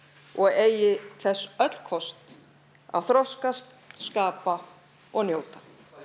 og eigi þess öll kost að þroskast skapa og njóta